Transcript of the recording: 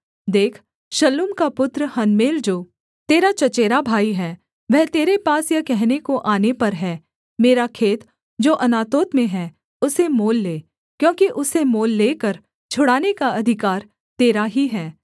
देख शल्लूम का पुत्र हनमेल जो तेरा चचेरा भाई है वह तेरे पास यह कहने को आने पर है मेरा खेत जो अनातोत में है उसे मोल ले क्योंकि उसे मोल लेकर छुड़ाने का अधिकार तेरा ही है